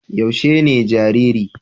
Yaushe ne jariri?